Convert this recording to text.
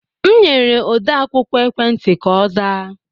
M nyere odeakwụkwọ ekwentị ka ọ zaa